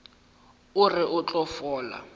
o re o tla fola